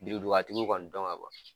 Biridugatigiw kɔni dɔn ka kɔrɔ